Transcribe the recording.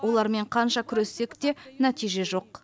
олармен қанша күрессек те нәтиже жоқ